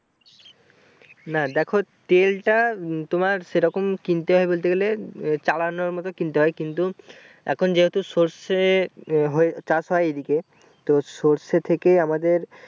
না দেখো তেলটা তোমার সেইরকম কিনতে হয় বলতে গেলে আহ চালানোর মতো কিনতে হয় কিন্তু এখন যেহুতু সরষের হয়ে চাষ হয় এইদিকে তো সরষের থেকে আমাদের